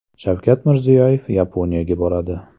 Shavkat Mirziyoyev Yaponiyaga boradi.